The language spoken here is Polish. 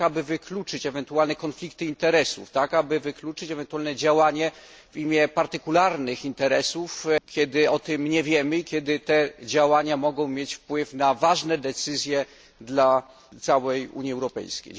Aby wykluczyć ewentualne konflikty interesów, aby wykluczyć ewentualne działanie w imię partykularnych interesów, kiedy o tym nie wiemy i kiedy te działania mogą mieć wpływ na ważne decyzje dla całej Unii Europejskiej.